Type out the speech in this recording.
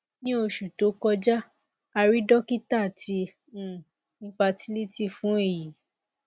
ni oṣu to kọja a rii dokita ti um infertility fun eyi